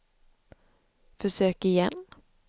försök igen